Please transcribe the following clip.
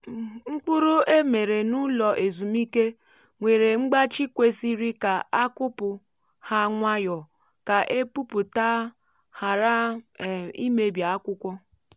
mkpụrụ e mere n’ụlọ ezumike nwere mgbachi kwesịrị ka a kụpụ um ha nwayọ ka epupụta ghara um ịmebi akwụkwọ